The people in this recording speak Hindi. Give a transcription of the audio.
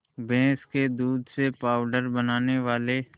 भैंस के दूध से पावडर बनाने वाले